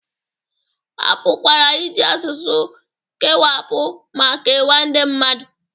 A pụkwara iji asụsụ kewapụ ma kewaa ndị mmadụ